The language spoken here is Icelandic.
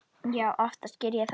Já, oftast geri ég það.